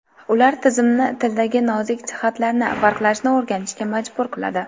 Ular tizimni tildagi nozik jihatlarni farqlashni o‘rganishga majbur qiladi.